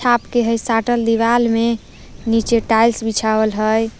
आपके हइ साटल दिवाल में नीचे टाइल्स बिछावल हइ ।